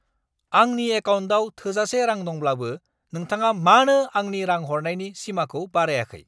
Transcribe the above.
आंनि एकाउन्टाव थोजासे रां दंब्लाबो नोंथाङा मानो आंनि रां हरनायनि सिमाखौ बारायाखै!